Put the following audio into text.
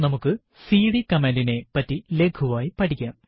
നമുക്ക് CD command നെ പറ്റി ലഘുവായി പഠിക്കാം